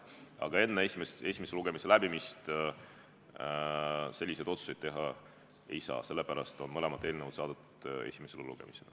Aga enne esimese lugemise lõpetamist selliseid otsuseid teha ei saa, sellepärast on mõlemad eelnõud saadetud esimesele lugemisele.